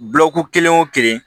Bulɔru kelen o kelen